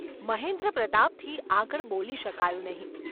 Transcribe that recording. ’ મહેન્દ્રપ્રતાપથી આગળ બોલી શકાયું નહિ.